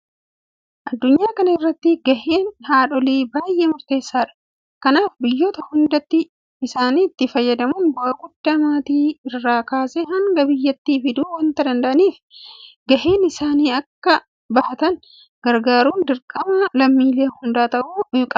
Addunyaa kana irratti gaheen haadholii baay'ee murteessaadha. Kanaaf biyyoota hundatti isaanitti fayyadamuun bu'aa guddaa maatii irraa kaasee hanga biyyaatti fiduu waanta danda'aniif gahee isaanii akka bahatan gargaaruun dirqama lammiilee hundaa ta'uu qaba.